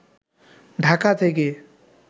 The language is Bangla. ঢাকা থেকে